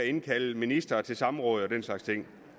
indkalde ministeren i samråd og den slags ting